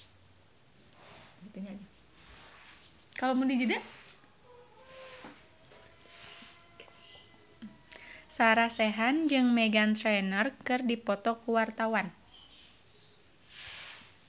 Sarah Sechan jeung Meghan Trainor keur dipoto ku wartawan